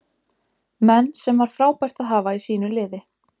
Menn sem var frábært að hafa í sínu liði.